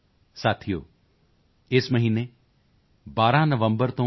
ਸਾਥੀਓ ਇਸ ਮਹੀਨੇ 12 ਨਵੰਬਰ ਤੋਂ ਡਾ